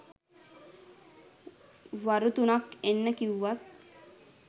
වරු තුනක් එන්න කිව්වත්